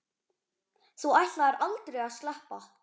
Þú ætlaðir aldrei að sleppa.